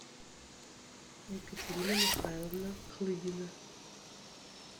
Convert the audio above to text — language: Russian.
екатерина михайловна клыгина